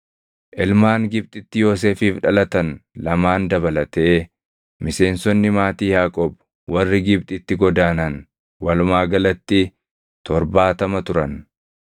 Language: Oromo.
Ilmaan Gibxitti Yoosefiif dhalatan lamaan dabalatee miseensonni maatii Yaaqoob warri Gibxitti godaanan walumaa galatti torbaatama turan.